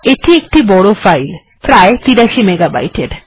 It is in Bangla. এটি একটি বড় ফাইলপ্রায় ৮৩ মেগা বাইটের